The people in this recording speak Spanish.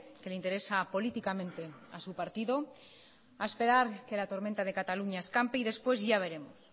que le interesa políticamente a su partido a esperar que la tormenta de cataluña escampe y después ya veremos